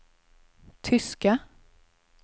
tyska